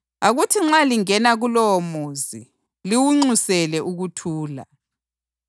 Akuthi nxa lingena kulowomuzi, liwunxusele ukuthula.